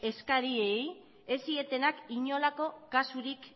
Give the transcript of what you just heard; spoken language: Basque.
eskariei ez zietenak inolako kasurik